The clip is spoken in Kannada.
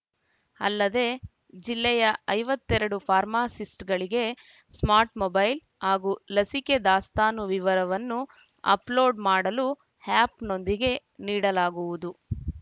ಅಲ್ಲದೆ ಜಿಲ್ಲೆಯ ಐವತ್ತ್ ಎರಡು ಫಾರ್ಮಾಸಿಸ್ಟ್‌ಗಳಿಗೆ ಸ್ಮಾಟ್‌ ಮೊಬೈಲ್‌ ಹಾಗೂ ಲಸಿಕೆ ದಾಸ್ತಾನು ವಿವರವನ್ನು ಅಪ್‌ಲೋಡ್‌ ಮಾಡಲು ಯಪ್‌ನೊಂದಿಗೆ ನೀಡಲಾಗುವುದು